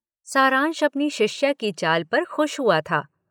सारांश अपनी शिष्या की चाल पर खुश हुआ था।